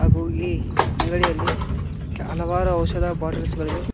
ಹಾಗು ಇ ಅಂಗಡಿಯಲ್ಲಿ ಕೆ ಹಲವಾರು ಔಷದ ಬಾಟಲ್ಸ್ ಗಳಿವೆ.